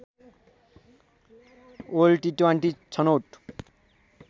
world T twenty छनौट